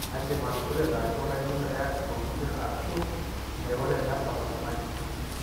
inadim atukureta ajo kanyio eyas ilkulie arashu enaiko tenebak oltungani.